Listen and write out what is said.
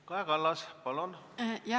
Kaja Kallas, palun!